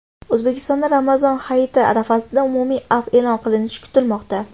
O‘zbekistonda Ramazon hayiti arafasida umumiy afv e’lon qilinishi kutilmoqda.